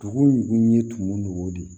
Dugu ye tumu ni o de ye